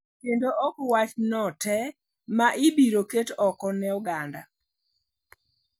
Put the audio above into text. Kendo ok wachno te ma ibiro ket oko ne oganda.